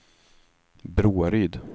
Broaryd